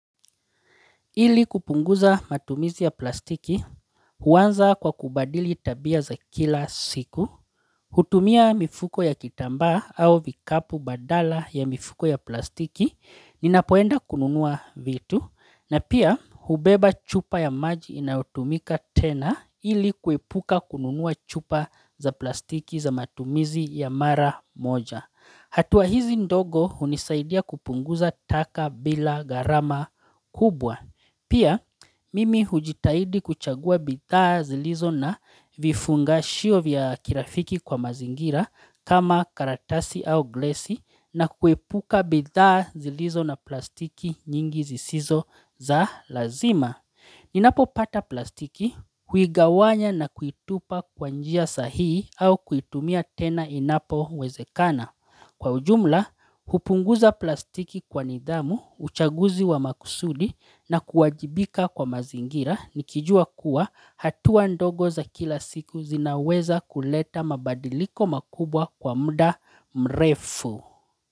Ili kupunguza matumizi ya plastiki, huanza kwa kubadili tabia za kila siku, hutumia mifuko ya kitambaa au vikapu badala ya mifuko ya plastiki, ninapoenda kununua vitu, na pia hubeba chupa ya maji inayotumika tena ili kuepuka kununua chupa za plastiki za matumizi ya mara moja. Hatua hizi ndogo unisaidia kupunguza taka bila gharama kubwa. Pia mimi hujitaidi kuchagua bidhaa zilizo na vifungashio vya kirafiki kwa mazingira kama karatasi au glesi na kuepuka bidhaa zilizo na plastiki nyingi zisizo za lazima. Ninapo pata plastiki huigawanya na kuitupa kwa njia sahihi au kuitumia tena inapo wezekana. Kwa ujumla, hupunguza plastiki kwa nidhamu, uchaguzi wa makusudi na kuwajibika kwa mazingira nikijua kuwa hatua ndogo za kila siku zinaweza kuleta mabadiliko makubwa kwa mda mrefu.